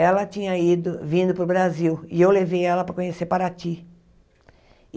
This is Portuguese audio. Ela tinha ido, vindo para o Brasil, e eu levei ela para conhecer Paraty.